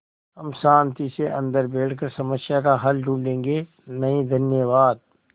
हम शान्ति से अन्दर बैठकर समस्या का हल ढूँढ़े गे नहीं धन्यवाद